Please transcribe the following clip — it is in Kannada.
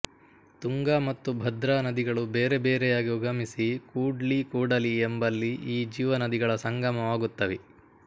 ತುಂಗಾ ಮತ್ತು ಭದ್ರಾ ನದಿಗಳು ಬೇರೆ ಬೇರೆಯಾಗಿ ಉಗಮಿಸಿ ಕೂಡ್ಲಿ ಕೂಡಲಿ ಎಂಬಲ್ಲಿ ಈ ಜೀವನದಿಗಳ ಸಂಗಮವಾಗುತ್ತವೆ